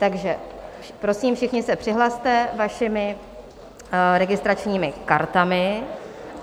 Takže prosím, všichni se přihlaste vašimi registračními kartami.